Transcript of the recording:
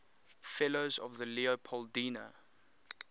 fellows of the leopoldina